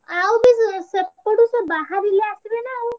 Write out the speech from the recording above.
ଆଉ ବି ସେପଟରୁ ଭାରିଲେ ଆସିବେ ନାଁ ଆଉ।